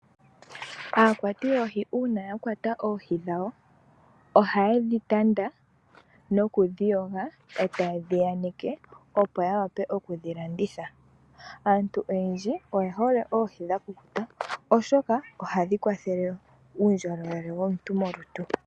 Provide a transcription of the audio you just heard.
Aakwati yoohi uuna ya kwata oohi dhawo, oha ye dhi tanda noku dhi yoga, e ta ye dhi aneke, opo ya wape oku dhi landitha. Aantu oyendji oye hole oohi dha kukuta, oshoka oha dhi kwathele uundjolowele womuntu molutu .